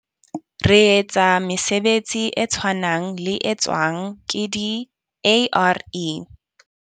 Re etsa mesebetsi e tshwanang le e tswang ke di-ARE.